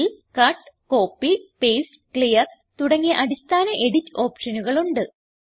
ഇതിൽ cut copy paste clear തുടങ്ങിയ അടിസ്ഥാന എഡിറ്റ് ഓപ്ഷനുകൾ ഉണ്ട്